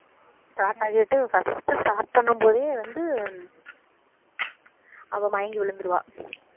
start ஆயிட்டு first start பண்ணும்போதே வந்து அவ மயங்கி விழுந்திருவா